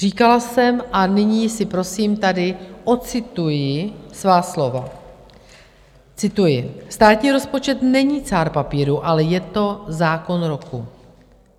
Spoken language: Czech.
Říkala jsem, a nyní si, prosím, tady ocituji svá slova, cituji: "Státní rozpočet není cár papíru, ale je to zákon roku.